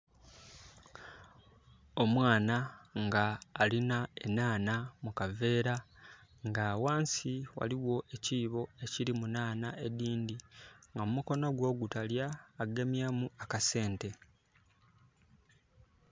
Omwana ng' alina enhaanha mu kaveera nga ghansi waliwo ekiibo ekirimu enhaanha edindi nga mukono gwe ogutalya agemyemu akasente